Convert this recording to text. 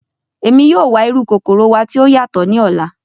Emi yoo wa iru kokoro wa ti o yatọ ni ọla.